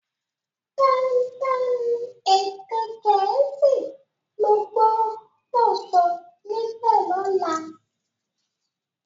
dandan èdè Gèésì lo gbó dó sọ níbè lola!